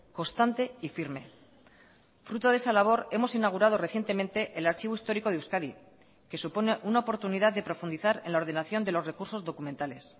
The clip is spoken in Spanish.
constante y firme fruto de esa labor hemos inaugurado recientemente el archivo histórico de euskadi que supone una oportunidad de profundizar en la ordenación de los recursos documentales